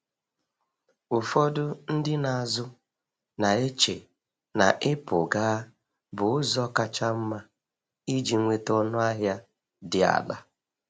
Ụfọdụ ndị na-azụ na-eche na ịpụ gaa bụ ụzọ kacha mma iji nweta ọnụahịa dị ala.